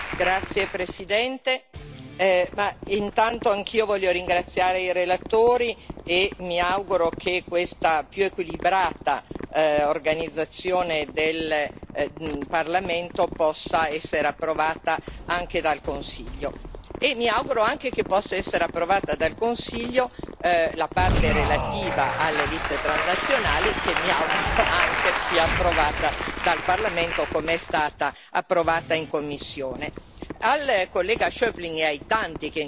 Signor Presidente, onorevoli colleghi, intanto anch'io voglio ringraziare i relatori e mi auguro che questa più equilibrata organizzazione del Parlamento possa essere approvata anche dal Consiglio. Mi auguro anche che possa essere approvata dal Consiglio la parte relativa alle liste transnazionali, che mi auguro anche sia approvata dal Parlamento come è stata approvata in commissione.